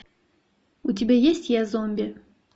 у тебя есть я зомби